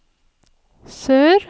sør